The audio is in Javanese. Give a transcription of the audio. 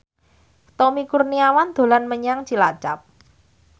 Tommy Kurniawan dolan menyang Cilacap